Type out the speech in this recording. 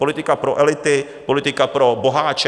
Politika pro elity, politika pro boháče.